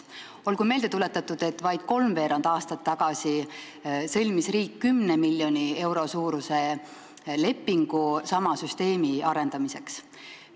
Olgu meelde tuletatud, et vaid kolmveerand aastat tagasi sõlmis riik 10 miljoni euro suuruse lepingu sama süsteemi arendamiseks.